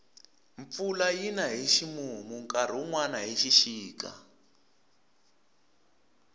mpfula yina hi ximumu nkarhi wunwani hi xixika